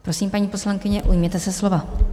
Prosím, paní poslankyně, ujměte se slova.